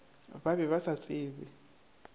ba be ba sa tsebe